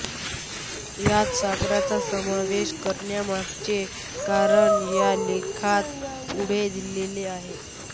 यात सागराचा समावेश करण्यामागचे कारण या लेखात पुढे दिलेले आहे